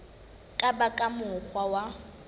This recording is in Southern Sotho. ka ba ka mokgwa wa